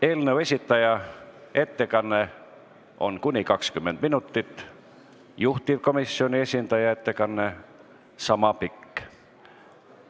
Eelnõu esitaja ettekanne on kuni 20 minutit, juhtivkomisjoni esindaja ettekanne sama pikk.